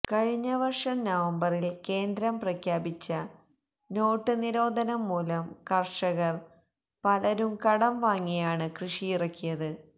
കഴിഞ്ഞ വര്ഷം നവംബറില് കേന്ദ്രം പ്രഖ്യാപിച്ച നോട്ടു നിരോധനം മൂലം കര്ഷകര് പലരും കടംവാങ്ങിയാണ് കൃഷിയിറക്കിയത്